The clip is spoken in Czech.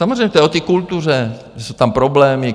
Samozřejmě to je o té kultuře, že jsou tam problémy.